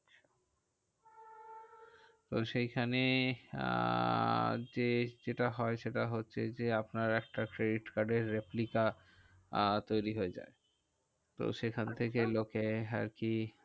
তো সেইখানে আহ যে যেটা হয় সেটা হচ্ছে যে, আপনার একটা credit card এর replica আহ তৈরী হয়ে যায়। তো সেখান থেকে লোকে আর কি